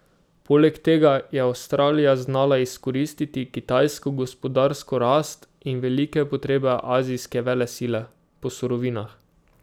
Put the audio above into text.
Poleg tega je Avstralija znala izkoristiti kitajsko gospodarsko rast in velike potrebe azijske velesile po surovinah.